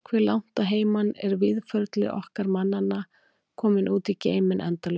Hve langt að heiman er Víðförli okkar mannanna kominn út í geiminn endalausa?